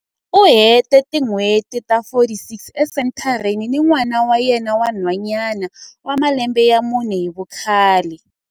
U hete tin'hweti ta 46 esenthareni ni n'wana wa yena wa nhwanyana wa malembe ya mune hi vukhale.